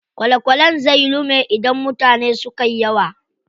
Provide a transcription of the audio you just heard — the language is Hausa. Kwale kwalen zai lume idan mutane sukayi yawa.